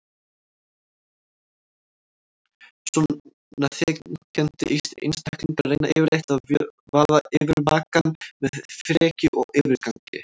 Svona þenkjandi einstaklingar reyna yfirleitt að vaða yfir makann með frekju og yfirgangi.